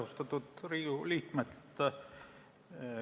Austatud Riigikogu liikmed!